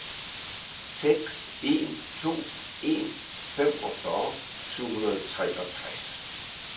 seks en to en femogfyrre syv hundrede og treogtres